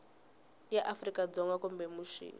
ya afrika dzonga kumbe mixini